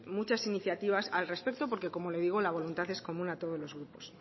muchas iniciativa al respecto porque como le digo la voluntad es común a todos los grupos